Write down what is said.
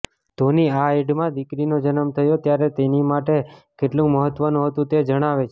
ધોની આ એડમાં દીકરીનો જન્મ થયો ત્યારે તેની માટે કેટલુ મહત્વનું હતું તે જણાવે છે